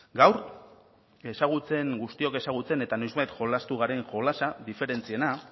gaur ezagutzen guztiok ezagutzen eta noizbait jolastu garen jolasa diferentziena